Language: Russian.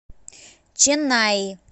ченнаи